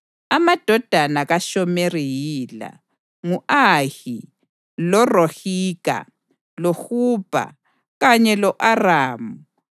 Amadodana kaShomeri yila: ngu-Ahi, loRohiga, loHubha kanye lo-Aramu.